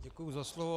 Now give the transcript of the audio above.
Děkuji za slovo.